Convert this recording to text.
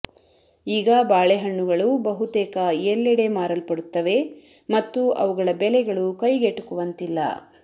ಈಗ ಬಾಳೆಹಣ್ಣುಗಳು ಬಹುತೇಕ ಎಲ್ಲೆಡೆ ಮಾರಲ್ಪಡುತ್ತವೆ ಮತ್ತು ಅವುಗಳ ಬೆಲೆಗಳು ಕೈಗೆಟುಕುವಂತಿಲ್ಲ